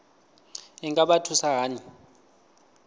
i nga vha thusa hani